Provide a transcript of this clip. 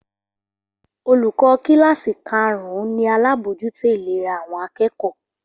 Olùkọ́ kíláàsì karùn-ún ni alábójútó ìlera àwọn akẹ́kọ̀ọ́